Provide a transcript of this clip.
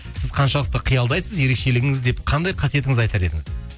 сіз қаншалықты қиялдайсыз ерекшелігіңіз деп қандай қасиетіңізді айтар едіңіз